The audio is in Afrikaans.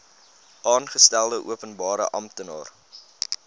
aangestelde openbare amptenaar